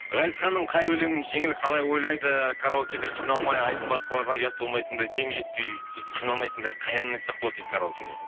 ғазизханның қай өлеңін жеңіл қалай ойлайды караокеде қиналмай айтып басқалардан ұят болмайтындай дем жетпей сөйтіп қиналмайтындай қай әнін айтсақ болады дейді караокеде